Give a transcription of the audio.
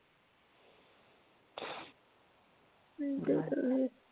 हम्म ते तर आहेच